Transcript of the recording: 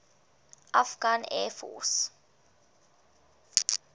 afghan air force